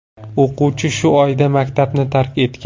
O‘quvchi shu oyda maktabni tark etgan.